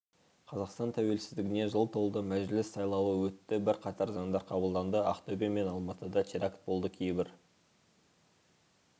қазақстан тәуелсіздігіне жыл толды мәжіліс сайлауы өтті бірқатар заңдар қабылданды ақтөбе мен алматыда теракт болды кейбір